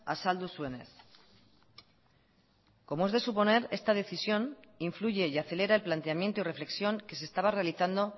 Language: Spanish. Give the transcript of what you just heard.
azaldu zuenez como es de suponer esta decisión influye y acelera el planteamiento y reflexión que se estaba realizando